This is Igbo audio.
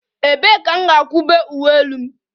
Ebee ka m ga-ekobe uwe elu m?